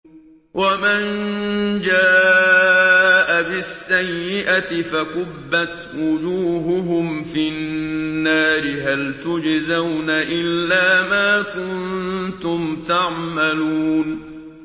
وَمَن جَاءَ بِالسَّيِّئَةِ فَكُبَّتْ وُجُوهُهُمْ فِي النَّارِ هَلْ تُجْزَوْنَ إِلَّا مَا كُنتُمْ تَعْمَلُونَ